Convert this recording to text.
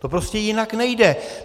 To prostě jinak nejde.